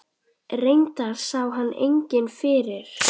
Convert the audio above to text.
Reyndar sá hann enginn fyrir.